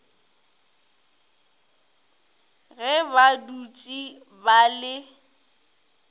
ge ba dutše ba le